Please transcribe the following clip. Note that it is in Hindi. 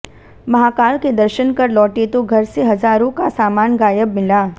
महाकाल के दर्शन कर लौटे तो घर से हजारों का सामान गायब मिला